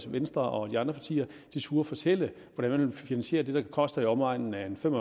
at venstre og de andre partier turde fortælle hvordan man vil finansiere det der koster i omegnen af fem